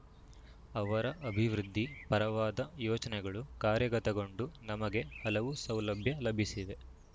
ಅವರ ಅಭಿವೃದ್ಧಿ ಪರವಾದ ಯೋಚನೆಗಳು ಕಾರ್ಯಗತಗೊಂಡು ನಮಗೆ ಹಲವು ಸೌಲಭ್ಯ ಲಭಿಸಿವೆ